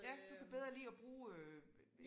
Ja du kan bedre lide at bruge øh